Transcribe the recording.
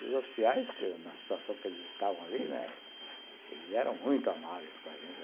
E os oficiais que, na situação que eles estavam ali, eles eram muito amáveis com a gente.